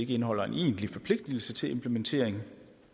ikke indeholder en egentlig forpligtelse til implementering